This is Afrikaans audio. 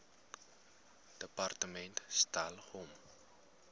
departement stel hom